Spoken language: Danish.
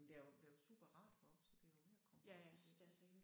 Men der er jo der er jo superrart heroppe så det jo med at komme herop